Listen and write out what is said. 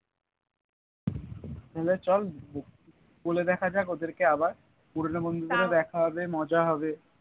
তাহলে চল বলে দেখা যাক ওদের কে আবার পুরোনো বন্ধুদের দেখা হবে মজা হবে